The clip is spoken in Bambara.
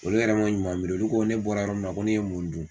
Olu yɛrɛ man ɲuman miiri olu ko ko ne bɔra yɔrɔ min na ko ne ye mun dun.